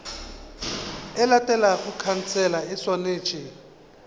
e latelago khansele e swanetše